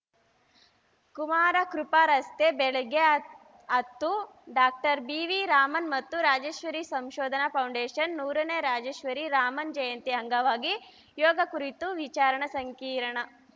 ಕುಮಾರಕೃಪಾ ರಸ್ತೆ ಬೆಳಗ್ಗೆ ಹ ಹತ್ತು ಡಾಕ್ಟರ್ ಬಿವಿರಾಮನ್‌ ಮತ್ತು ರಾಜೇಶ್ವರಿ ಸಂಶೋಧನಾ ಫೌಂಡೇಷನ್‌ ನೂರನೇ ರಾಜೇಶ್ವರಿ ರಾಮನ್‌ ಜಯಂತಿ ಅಂಗವಾಗಿ ಯೋಗ ಕುರಿತು ವಿಚಾರ ಸಂಕಿರಣ